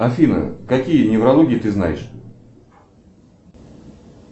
афина какие неврологии ты знаешь